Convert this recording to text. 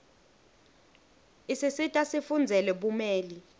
isisita sifundzele bumeli